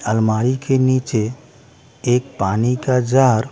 अलमारी के नीचे एक पानी का जार --